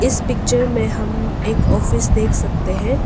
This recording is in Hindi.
इस पिक्चर में हम एक ऑफिस देख सकते हैं।